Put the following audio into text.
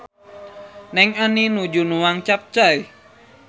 Neng Ani nuju nuang capcay